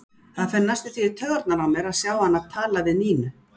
Það fer næstum því í taugarnar á mér að sjá hana tala við Nínu.